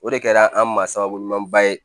O de kɛra an ma sababu ɲumanba ye